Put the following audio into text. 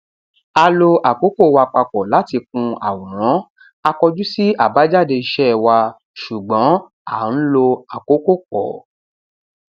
a lo àkókò wa papọ láti kun àwòrán a kọjú sí àbájáde iṣẹ wa ṣùgbọn à ń lo àkókò pọ